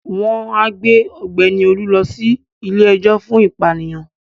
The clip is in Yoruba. Wọ́n á gbé Ọ̀gbẹ́ni Olú lọ sí ilé-ejò fún ìpànìyàn